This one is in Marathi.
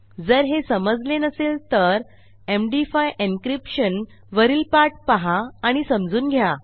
जर हे समजले नसेल तर एमडी5 एन्क्रिप्शन वरील पाठ पहा आणि समजून घ्या